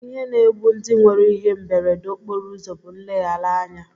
Ihe na-egbu ndị nwere ihe mberede okporoụzọ bụ nleghara anya